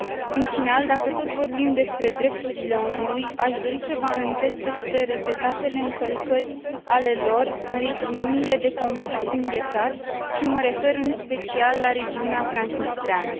În final, dacă tot vorbim despre drepturile omului, aș dori să vă amintesc despre repetatele încălcări ale lor în regiunile de conflict înghețat și mă refer în special la regiunea transnistreană.